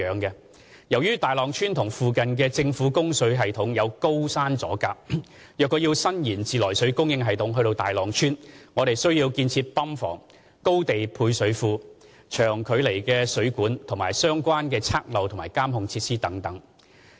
由於大浪村與附近的政府供水系統有高山阻隔，若要伸延自來水供應系統至大浪村，我們需要建造泵房、高地配水缸、長距離的水管及相關測漏和監控設施等。